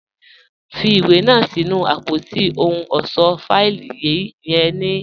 Fì iwé náà sí̀nù apótí òhùn ọṣọ́ fáìlì yẹ̀n ní báyì.